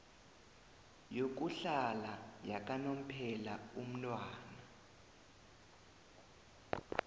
yokuhlala yakanomphela umntwana